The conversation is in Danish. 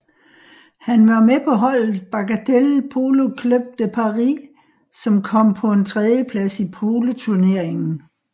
Han var med på holdet Bagatelle Polo Club de Paris som kom på en tredjeplads i poloturneringen